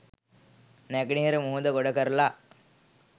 නැගෙනහිර මුහුද ගොඩ කරලා